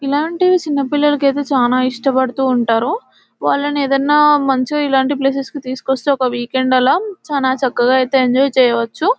ఇలాంటివి చిన్న పిల్లలకైతే చాలా ఇష్టపడుతూ ఉంటారు వాళ్లని ఏదైనా మంచో ఇలాంటి ప్లేసెస్ కి తీసుకొస్తే ఒక వీకెండ్ అలా చానా చక్కగా అయితే ఎంజాయ్ చేయవచ్చు .